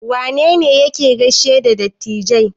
Wane ne yake gaishe da dattijai?